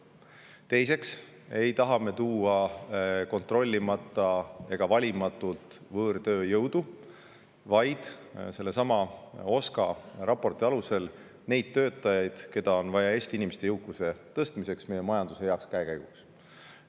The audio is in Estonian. Teiseks ei taha me tuua kontrollimata ega valimatult võõrtööjõudu, vaid sellesama OSKA raporti alusel neid töötajaid, keda on vaja Eesti inimeste jõukuse tõstmiseks, meie majanduse heaks käekäiguks.